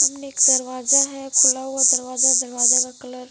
एक दरवाजा है खुला हुआ दरवाजा है दरवाजा का कलर --